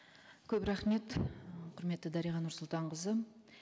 көп рахмет құрметті дариға нұрсұлтанқызы